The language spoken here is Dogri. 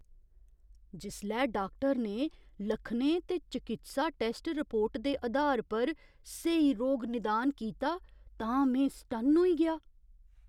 जिसलै डाक्टर ने लक्खनें ते चकित्सा टैस्ट रिपोर्ट दे अधार पर स्हेई रोग निदान कीता तां में सटन्न होई गेआ !